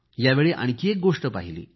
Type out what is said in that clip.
यावेळी आणखी एक गोष्ट पाहिली